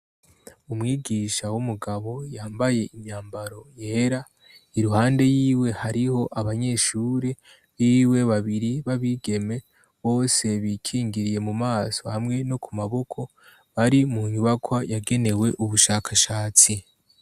Umwigisha w'umugabo yambaye imyambaro yera iruhande, y'iwe hariho abanyeshuri biwe babiri babigeme bose bikingiriye mumaso hamwe no ku maboko bari mu nyubakwa yagenewe ubushakashatsi.